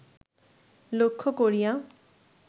লক্ষ্য করিয়া